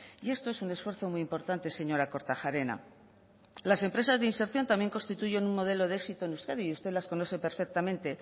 y esto es un esfuerzo muy importante señora kortajarena las empresas de inserción también constituyen un modelo de éxito en euskadi y usted las conoce perfectamente